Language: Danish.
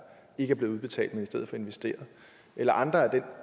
ikke er blevet udbetalt men i stedet investeret eller andre af den